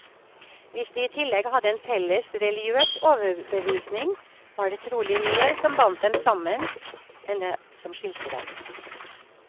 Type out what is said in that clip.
Hvis de i tillegg hadde en felles religiøs overbevisning, var det trolig mer som bandt dem sammen, enn det som skilte dem.